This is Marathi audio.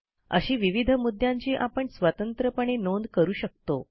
अशी विविध मुद्यांची आपण स्वतंत्रपणे नोंद करू शकतो